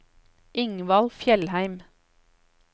Ingvald Fjellheim